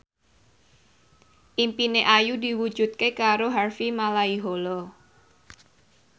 impine Ayu diwujudke karo Harvey Malaiholo